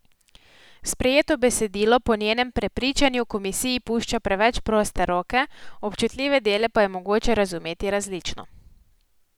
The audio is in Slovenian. Sprejeto besedilo po njenem prepričanju komisiji pušča preveč proste roke, občutljive dele pa je mogoče razumeti različno.